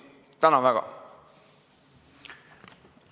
Tänan väga!